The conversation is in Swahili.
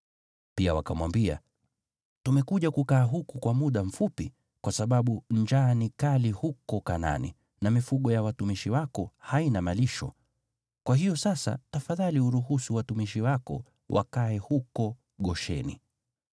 Pia wakamwambia Farao, “Tumekuja kukaa huku kwa muda mfupi, kwa sababu njaa ni kali huko Kanaani, na mifugo ya watumishi wako haina malisho. Kwa hiyo sasa, tafadhali uruhusu watumishi wako wakae huko Gosheni.”